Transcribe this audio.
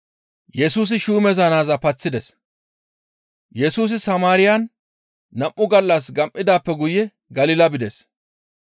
Yesusi Samaariyan nam7u gallas gam7idaappe guye Galila bides.